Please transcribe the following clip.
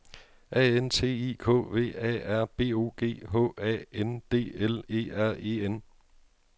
A N T I K V A R B O G H A N D L E R E N